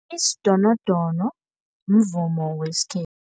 Isidonodono mvumo wesikhethu.